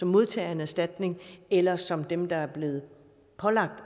modtager af en erstatning eller som dem der er blevet pålagt